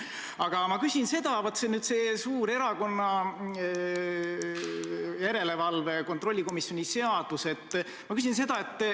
Aga ma küsin, vaat, selle suure erakonna järelevalve kontrollikomisjoni seaduse kohta.